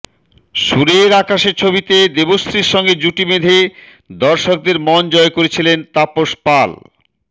সুরের আকাশে ছবিতে দেবশ্রীর সঙ্গে জুটি বেঁধে দর্শকদের মন জয় করেছিলেন তাপস পাল